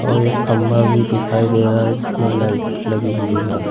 और एक खंबा भी दिखाई दे रहा है जिसमें लाइट लगी हुई है।